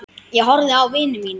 Ég horfði á vini mína.